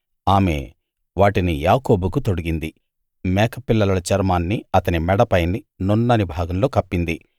ఆమె వాటిని యాకోబుకు తొడిగింది మేక పిల్లల చర్మాన్ని అతని మెడ పైని నున్నని భాగంలో కప్పింది